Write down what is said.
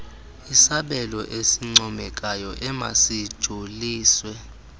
isabelo esincomekayo emasijoliswe